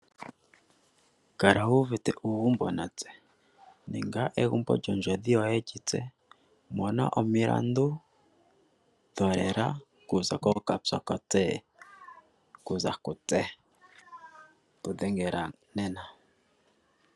Kala wuvite uugumbo natse ninga egumbo lyondjodhi yoye yi tse. Mona omilandu dholela kuza kookatokote ano kuza ku tse tu dhengela nena.